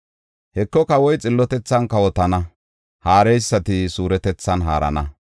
Heko, kawoy xillotethan kawotana; haareysati suuretethan haarana.